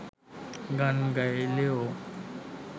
গান গাইলেও